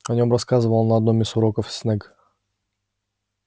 о нём рассказывал на одном из уроков снегг